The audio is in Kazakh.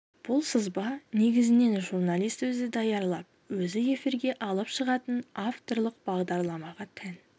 бұл сызба негізінен журналист өзі даярлап өзі эфирге алып шығатын авторлық бағдарламаға тән